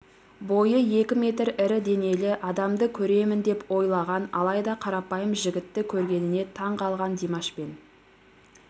бойы екі метр ірі денелі адамды көремін деп ойлаған алайда қарапайым жігітті көргеніне таңғалған димашпен